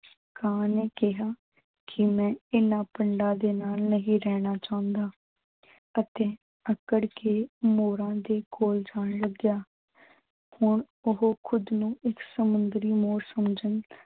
ਕਾਂ ਨੇ ਕਿਹਾ ਕਿ ਮੈਂ ਇਨ੍ਹਾਂ ਭੰਡਾ ਦੇ ਨਾਲ ਨਹੀਂ ਰਹਿਣਾ ਚੁਹੰਦਾ ਅਤੇ ਆਕੜ ਕੇ ਮੋਰਾਂ ਦੇ ਕੋਲ ਜਾਣ ਲੱਗਿਆ ਹੁਣ ਓਹੋ ਖੁੱਦ ਨੂੰ ਇੱਕ ਸਮੁੰਦਰੀ ਮੋਰ ਸਮਝਣ